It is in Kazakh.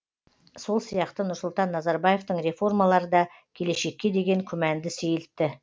сол сияқты нұрсұлтан назарбаевтың реформалары да келешекке деген күмәнді сейілтті